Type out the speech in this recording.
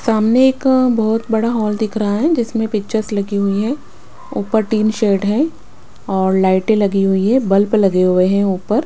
सामने एक बहुत बड़ा हॉल दिख रहा है जिसमें पिक्चर्स लगी हुई है ऊपर टिन शेड है और लाइटें लगी हुई है बल्ब लगे हुए हैं ऊपर --